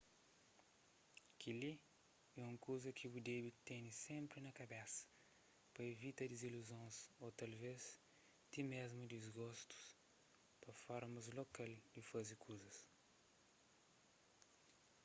kel-li é un kuza ki bu debe tene sénpri na kabesa pa ivita diziluzons ô talvés ti mésmu disgostu pa formas lokal di faze kuzas